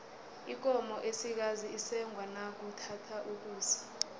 ikomo esikazi isengwa nakuthatha ukusa